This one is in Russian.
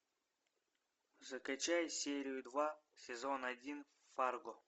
закачай серию два сезон один фарго